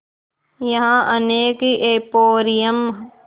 यहाँ अनेक एंपोरियम